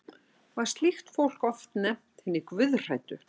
var slíkt fólk oft nefnt hinir guðhræddu